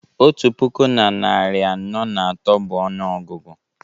otu puku na narị anọ na atọ bụ ọnụọgụgụ